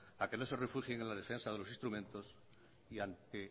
a que no se refugien en la defensa de los instrumentos y ante